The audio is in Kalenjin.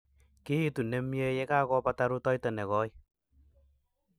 kiitu nemei yekakobata rutoito nekoii